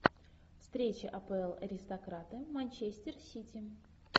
встреча апл аристократы манчестер сити